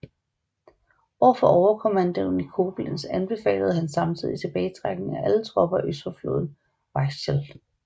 Over for overkommandoen i Koblenz anbefalede han samtidig tilbagetrækning af alle tropper øst for floden Weichsel